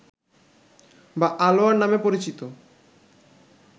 বা আলোয়ার নামে পরিচিত